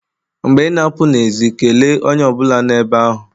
Mgbe ị na-apụ n'èzí kelee onye ọ bụla nọ ebe ahụ.